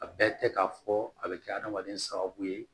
A bɛɛ tɛ k'a fɔ a bɛ kɛ adamaden sababu ye